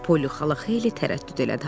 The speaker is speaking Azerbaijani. Poli xala xeyli tərəddüd elədi.